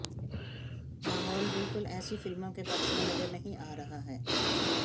माहौल बिलकुल ऐसी फिल्मों के पक्ष में नजर नहीं आ रहा है